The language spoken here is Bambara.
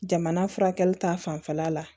Jamana furakɛli ta fanfɛla la